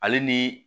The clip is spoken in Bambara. Ale ni